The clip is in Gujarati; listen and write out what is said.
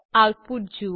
આઉટપુટ જુઓ